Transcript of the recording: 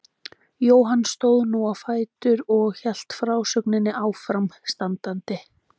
Jóhann stóð nú á fætur og hélt frásögninni áfram standandi